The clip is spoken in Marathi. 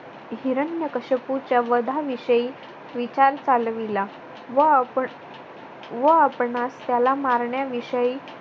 हिरण्यकश्यपूच्या वधाविषयी विचार चालविला. व आपण व आपणास त्याला मारण्या विषयी